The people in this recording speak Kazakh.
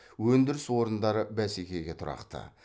өндіріс орындары бәсекеге тұрақты